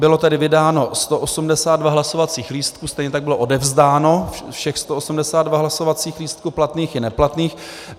Bylo tedy vydáno 182 hlasovacích lístků, stejně tak bylo odevzdáno všech 182 hlasovacích lístků platných i neplatných.